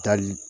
Taali